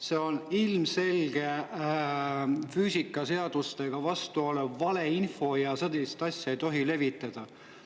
See on ilmselge füüsikaseadustele vastu käiv valeinfo ja sellist asja ei tohi levitada.